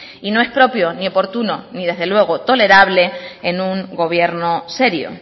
y no es propio ni oportuno ni desde luego tolerable en un gobierno serio